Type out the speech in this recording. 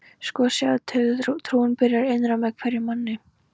Sko, sjáðu til, trúin byrjar innra með hverjum manni.